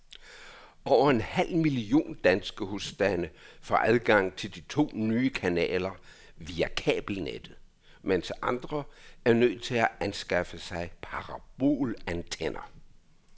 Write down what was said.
Over en halv million danske husstande får adgang til de to nye kanaler via kabelnettet, mens andre er nødt til at anskaffe sig parabolantenner.